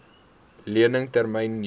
lening termyn jare